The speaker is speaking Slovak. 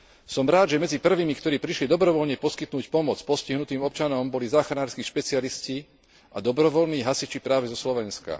Som rád, že medzi prvými, ktorí prišli dobrovoľne poskytnúť pomoc postihnutým občanom boli záchranárski špecialisti a dobrovoľní hasiči práve zo Slovenska.